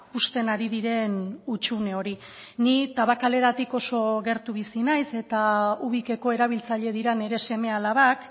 uzten ari diren hutsune hori ni tabakaleratik oso gertu bizi naiz eta ubikeko erabiltzaile dira nire seme alabak